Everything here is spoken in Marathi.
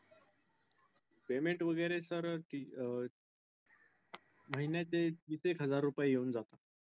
payment वगैरे sir अं महिन्याचे तीस एक हजार रुपये येऊन जातात.